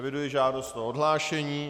Eviduji žádost o odhlášení.